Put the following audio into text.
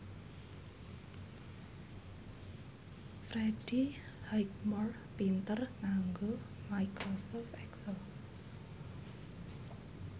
Freddie Highmore pinter nganggo microsoft excel